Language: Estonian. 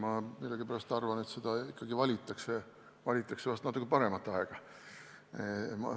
Ma millegipärast arvan, et ikkagi valitakse vahest natuke parem aeg.